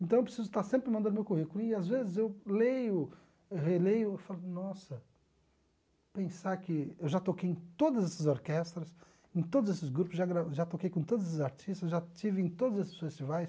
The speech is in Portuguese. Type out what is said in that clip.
Então, eu preciso estar sempre mandando meu currículo e, às vezes, eu leio, releio e falo, nossa, pensar que eu já toquei em todas essas orquestras, em todos esses grupos, já já toquei com todos esses artistas, já estive em todos esses festivais.